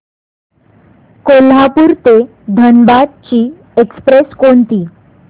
कोल्हापूर ते धनबाद ची एक्स्प्रेस कोणती